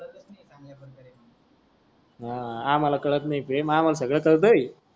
हा आमाला कळत नाही की आमाला सगळ कळतेय.